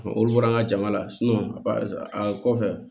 Olu bɔra an ka jama la a kɔfɛ